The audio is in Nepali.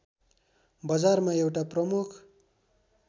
बजारमा एउटा प्रमुख